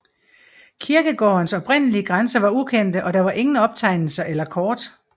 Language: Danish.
Kirkegårdens oprindelige grænser var ukendte og der var ingen optegnelser eller kort